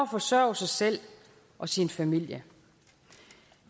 forsørge sig selv og sin familie